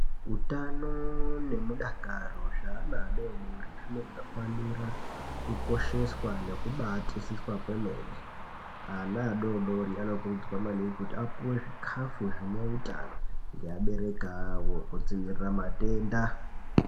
Utano nemudakaro zveana adodori zvinofanira kukosheswa nekubatisiswa kwemene, ana adodori anokurudzirwa kuti apuwe zvikhafu zvineutano ngeabereki awo kudziwirira matenda.